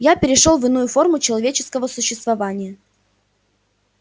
я перешёл в иную форму человеческого существования